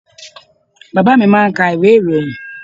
Baba mi máà ń ka ìwé ìròyìn.